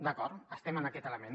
d’acord estem en aquest element